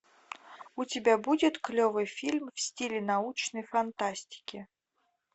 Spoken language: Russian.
у тебя будет клевый фильм в стиле научной фантастики